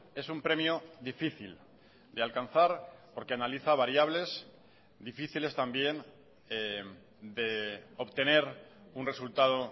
es un premio difícil de alcanzar porque analiza variables difíciles también de obtener un resultado